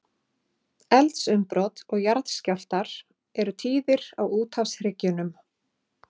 Eldsumbrot og jarðskjálftar eru tíðir á úthafshryggjunum.